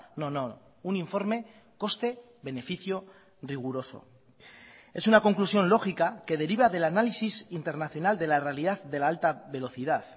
no no un informe coste beneficio riguroso es una conclusión lógica que deriva del análisis internacional de la realidad de la alta velocidad